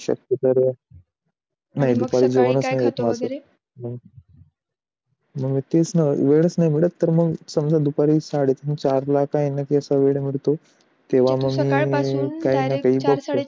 शकत्यो नाही मग काय खाते वैगेरे मग तेच ना वेळच नाही भेटत तर समझा दुपारी साडे तीन चार ला ज स वेळ मिळतो